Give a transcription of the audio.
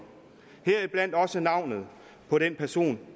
heriblandt også navnet på den person